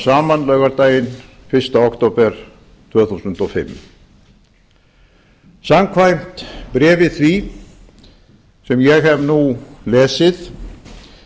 saman laugardaginn fyrsta október tvö þúsund og fimm samkvæmt bréfi því sem ég hef nú lesið